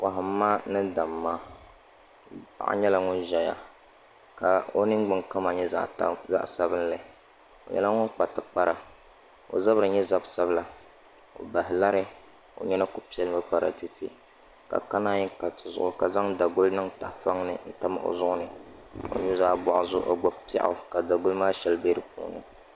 Kohamma ni damma paɣa nyɛla ŋun ʒɛya ka o ningbuni kama nyɛ zaɣ sabinli o nyɛla ŋun kpa tikpara ka o zabiri nyɛ zab sabila o baha lari o nyina ku piɛlimi para tiɛ tiɛ ka naan ka tizuɣu ka zaŋ daguli n tam o zuɣuni o nuzaa zuɣu o gbubi piɛɣu ka daguli maa shɛli bɛ di puuni